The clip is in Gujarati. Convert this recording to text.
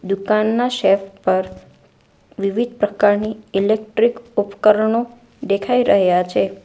દુકાનના શેફ પર વિવિધ પ્રકારની ઈલેક્ટ્રીક ઉપકરણો દેખાય રહ્યા છે.